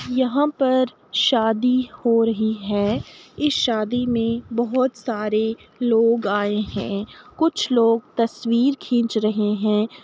यहाँ पर शादी हो रही है। इस शादी में बहोत सारे लोग आए हैं। कुछ लोग तस्वीर खींच रहे हैं।